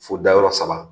Fo dayɔrɔ saba